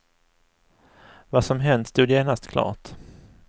Vad som hänt stod genast klart.